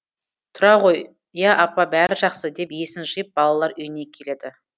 тұра ғой я апа бәрі жақсы деп есін жиып балалар үйіне келеді